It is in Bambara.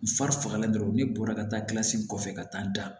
U fari fagalen dɔrɔn ne bɔra ka taa kɔfɛ ka taa da